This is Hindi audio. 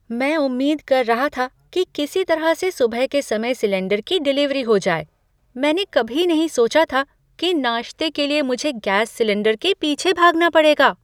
मैं उम्मीद कर रहा था कि किसी तरह से सुबह के समय सिलेंडर की डिलीवरी हो जाए। मैंने कभी नहीं सोचा था कि नाश्ते के लिए मुझे गैस सिलेंडर के पीछे भागना पड़ेगा!